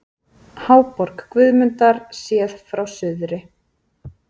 Háborg Guðmundar séð frá suðri.